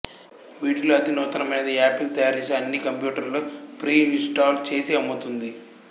వీటిలో అతి నూతనమైనది యాపిల్ తయారు చేసే అన్ని కంప్యూటర్లలో ప్రీఇంస్టాల్ చేసి అమ్ముతుంది